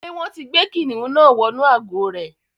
Ṣé wọ́n ti gbé kìnìnú náà wọnú àgò rẹ̀.